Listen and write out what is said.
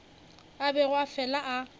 a bego a fela a